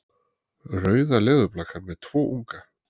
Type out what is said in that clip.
Rauða leðurblakan með tvo unga.